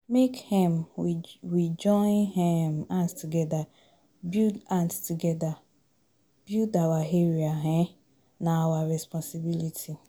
Make um we join um hands togeda build hands togeda build our area, um na our responsibility.